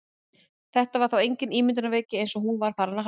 Þetta var þá engin ímyndunarveiki eins og hún var farin að halda!